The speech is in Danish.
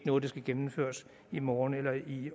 noget der skal gennemføres i morgen eller i